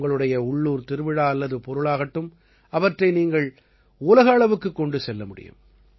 உங்களுடைய உள்ளூர் திருவிழா அல்லது பொருள் ஆகட்டும் அவற்றை நீங்கள் உலக அளவுக்குக் கொண்டு செல்ல முடியும்